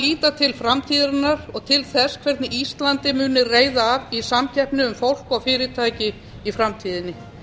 líta til framtíðarinnar og þess hvernig íslandi muni reiða af í samkeppni um fólk og fyrirtæki í framtíðinni